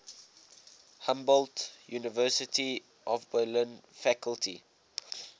humboldt university of berlin faculty